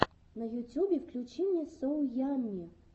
на ютюбе включи мне соу ямми